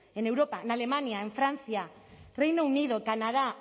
en europa en alemania en francia reino unido canadá